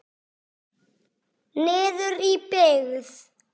Niður í byggð.